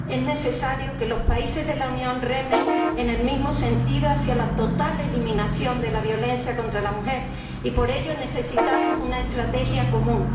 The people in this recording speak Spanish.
Es necesario que los países de la Unión remen en el mismo sentido hacia la total eliminación de la violencia contra la mujer, y por ello necesitamos una estrategia común.